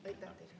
Aitäh!